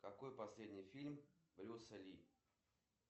какой последний фильм брюса ли